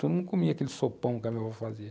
Todo mundo comia aquele sopão que a minha vó fazia.